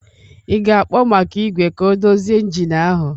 Ị ga-akpọ maka igwe ka ọ dozie engine ahụ?